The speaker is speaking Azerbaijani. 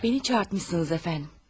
Məni çağırtmısınız əfəndim.